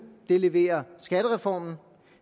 den leverer skattereformen